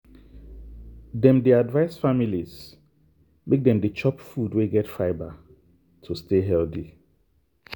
dem dey advise families make dem dey chop food wey get fibre to stay healthy.